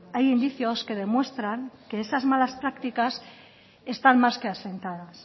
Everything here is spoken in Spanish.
hay indicios que demuestran que esas malas prácticas están más que asentadas